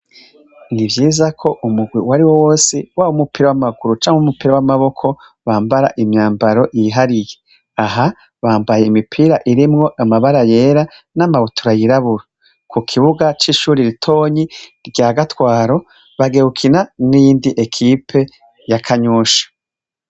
Nivyiza ko umurwi uwariwo wose wamapira namaboko bambara imyambaro ihariye aha bambaye imipira irimwo amabara yera namabutura yirabura kukibuga cishure ritoyi ryagatwaro bagiye gukina niyindi ekuipe ya kanyosha